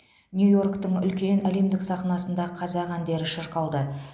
нью йорктің үлкен әлемдік сахнасында қазақ әндері шырқалды